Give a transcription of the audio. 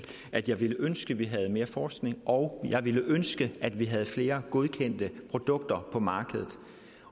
at jeg ville ønske at vi havde mere forskning og jeg ville ønske at vi havde flere godkendte produkter på markedet